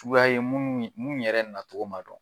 Suguya ye, mun yɛrɛ na cogo ma dɔn.